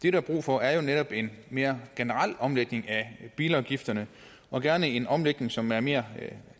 er brug for er netop en mere generel omlægning af bilafgifterne og gerne en omlægning som er mere